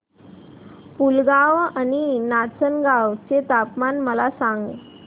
पुलगांव आणि नाचनगांव चे तापमान मला सांग